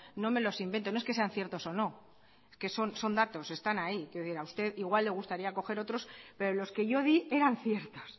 no me los invento no es que sean ciertos o no es que son datos están ahí quiero decir a usted igual le gustaría coger otros pero los que yo di eran ciertos